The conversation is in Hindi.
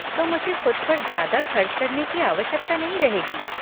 तो मुझे ख़ुद पर ज़्यादा खर्च करने की आवश्यकता नहीं रहेगी।